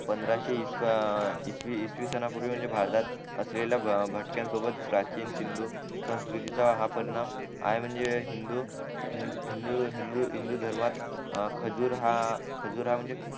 पंधराशे इस ईसवीसन ना पूर्वी म्हणजे भारतात असेलेला भटक्या सोबत प्राचीन हिंदू संस्कृतीचा हा पर्ण आहे म्हणजे हिंदू हिंदू हिंदू हिंदू धर्मात खजूर हा खजूर हा म्हणजे